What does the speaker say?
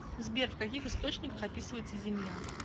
сбер в каких источниках описывается земля